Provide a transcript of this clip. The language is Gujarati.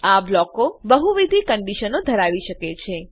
આ બ્લોકો બહુવિધ કંડીશનો ધરાવી શકે છે